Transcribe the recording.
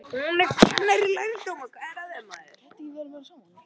Magðalena, lækkaðu í græjunum.